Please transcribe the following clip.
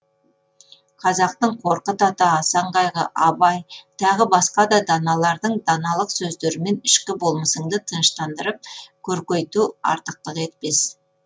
қазақтың қорқыт ата асан қайғы абай тағы басқа да даналардың даналық сөздерімен ішкі болмысыңды тыныштандырып көркейту артықтық етпес